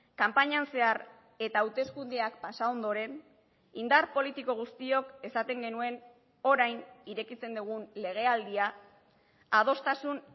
kanpainan zehar eta hauteskundeak pasa ondoren indar politiko guztiok esaten genuen orain irekitzen dugun legealdia adostasun